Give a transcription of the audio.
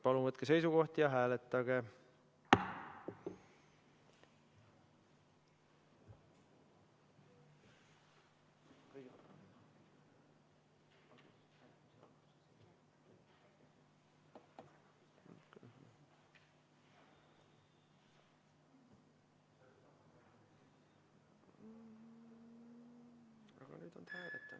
Palun võtke seisukoht ja hääletage!